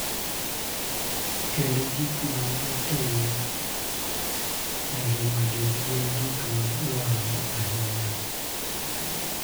Kendo gik ma gitimo e ngimagi gin gik ma dwarore ahinya.